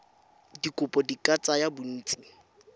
dikopo di ka tsaya bontsi